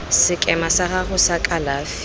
sekema sa gago sa kalafi